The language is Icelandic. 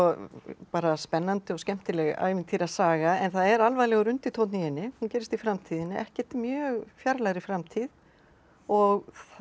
bara spennandi og skemmtileg ævintýrasaga en það er alvarlegur undirtónn í henni hún gerist í framtíðinni ekkert mjög fjarlægri framtíð og